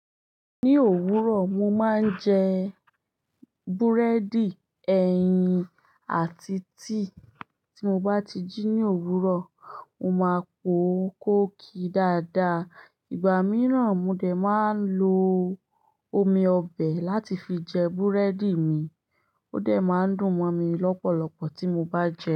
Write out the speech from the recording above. Ní òwúrọ̀, mo máa ń jẹ búrẹ́dì, ẹyin àti tíì tí mo bá ti jí ní òwúrọ̀, mo máa po kóò kì dáadáa. Ìgbà míràn, mo dè ń máa ń lo omi ọbẹ̀ láti fi jẹ búrẹ́dì mi, ó dè máa ń dùn mọ́ mi lọ́pọ̀lọpọ̀ tí mo bá jẹ.